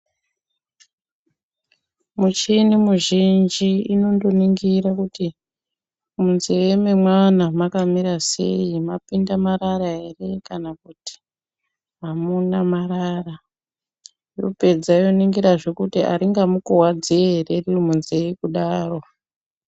Mucheni muzhinji inondo ningira kuti munze me mwana maka mira sei mapinda marara ere kana kuti amuna marara yo pedza yo ningira zve aringa mukuwadzi ere riri munze kudaro.